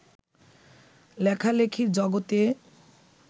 লেখালেখির জগতে